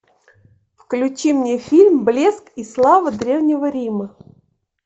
включи мне фильм блеск и слава древнего рима